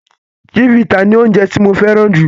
Chivita ni oje tí mo féràn ju